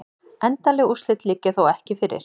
Endanleg úrslit liggja þó ekki fyrir